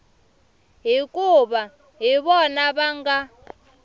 hikuva hi vona va nga